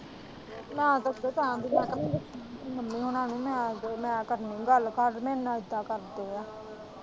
ਮੈਂ ਤਾਂ ਉੱਦੇ ਟਾਈਮ ਦੀ ਗੱਲ ਨੀ ਦੱਸੀ ਮੰਮੀ ਹੋਣਾ ਨੂੰ ਮੈਂ ਕਰਨੀ ਗੱਲ ਘਰ ਮੇਰੇ ਨਾਲ਼ ਇੱਦਾ ਕਰਦੇ ਏ।